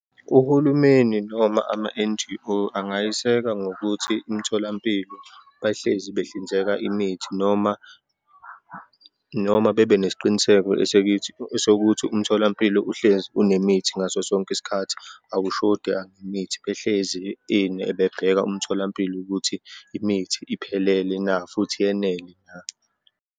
Uhulumeni noma ama-N_G_O angayiseka ngokuthi imitholampilo, bahlezi behlinzeka imithi noma, noma bebenesiqiniseko esikithi, esokuthi umtholampilo uhlezi unemithi ngaso sonke isikhathi, akushodi angemithi, behlezi bebheka umtholampilo ukuthi imithi iphelele na, futhi yenele na.